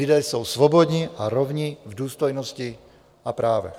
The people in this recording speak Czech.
Lidé jsou svobodní a rovni v důstojnosti a právech.